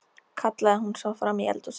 kallaði hún svo fram í eldhúsið.